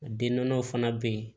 Den nɔnɔw fana bɛ yen